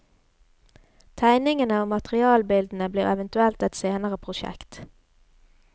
Tegningene og materialbildene blir eventuelt et senere prosjekt.